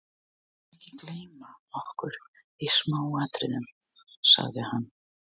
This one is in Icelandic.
Við skulum ekki gleyma okkur í smáatriðunum sagði hann.